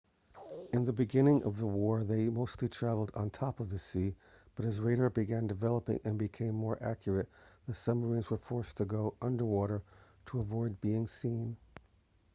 in the beginning of the war they mostly travelled on top of the sea but as radar began developing and becoming more accurate the submarines were forced to go under water to avoid being seen